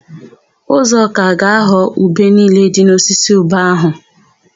Uzọka ga-aghọ ube niile dị n'osisi ube áhụ̀.